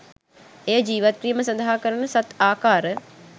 එය ජීවත්වීම සඳහා කරන සත් ආකාර